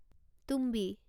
তুম্বি